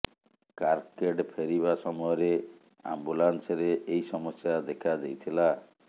carcade ଫେରିବା ସମୟରେ ଆମ୍ବୁଲାନ୍ସରେ ଏହି ସମସ୍ୟା ଦେଖା ଦେଇଥିଲା